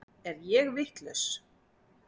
Er ég vitlaus!